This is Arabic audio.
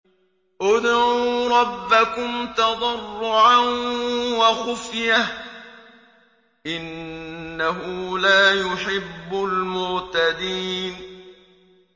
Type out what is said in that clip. ادْعُوا رَبَّكُمْ تَضَرُّعًا وَخُفْيَةً ۚ إِنَّهُ لَا يُحِبُّ الْمُعْتَدِينَ